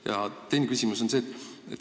Ja teine küsimus on selline.